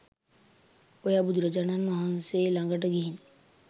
ඔයා බුදුරජාණන් වහන්සේ ලඟට ගිහින්